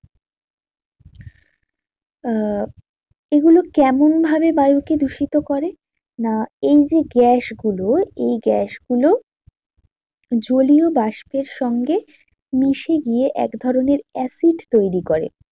আহ এগুলো কেমন ভাবে বায়ুকে দূষিত করে? না এই যে গ্যাস গুলো এই গ্যাস গুলো জলীয় বাষ্পের সঙ্গে মিশে গিয়ে এক ধরণের acid তৈরী করে